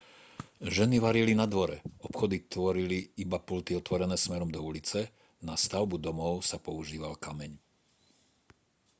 ženy varili na dvore obchody tvorili iba pulty otvorené smerom do ulice na stavbu domov sa používal kameň